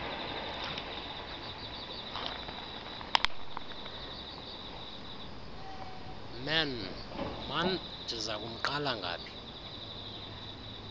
man ndizakumqala ngaphi